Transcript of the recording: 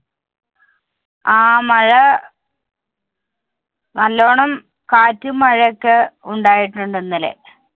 ആ, മഴ നല്ലോണം കാറ്റും, മഴയൊക്കെ ഉണ്ടായിട്ടുണ്ട് ഇന്നലെ.